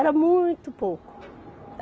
Era muito pouco.